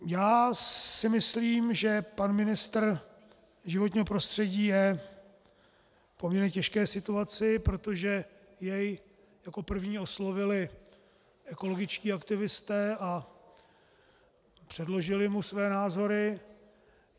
Já si myslím, že pan ministr životního prostředí je v poměrně těžké situaci, protože jej jako první oslovili ekologičtí aktivisté a předložili mu své názory.